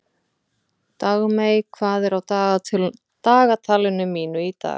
Dagmey, hvað er á dagatalinu mínu í dag?